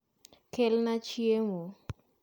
Kelna chiemo